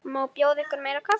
Má bjóða ykkur meira kaffi?